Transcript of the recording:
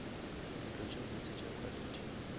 ntlo tše botse tša quality